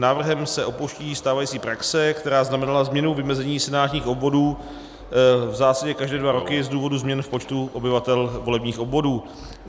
Návrhem se opouští stávající praxe, která znamenala změnu vymezení senátních obvodů v zásadě každé dva roky z důvodu změn v počtu obyvatel volebních obvodů.